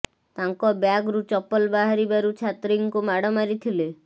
ତାଙ୍କ ବ୍ୟାଗରୁ ଚପଲ ବାହାରି ବାରୁ ଛାତ୍ରୀଙ୍କୁ ମାଡ ମାରିଥିଲେ